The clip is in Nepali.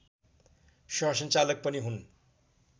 सहसञ्चालक पनि हुन्